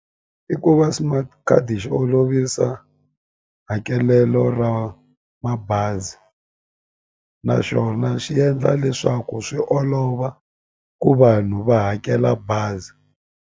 I ku va smart card xi olovisa hakelelo ra mabazi naswona xi endla leswaku swi olova ku vanhu va hakela bazi.